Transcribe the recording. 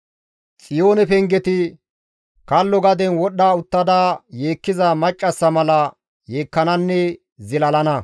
Xiyoone pengeti kallo gaden wodhdha uttada yeekkiza maccassa mala yeekkananne zilalana.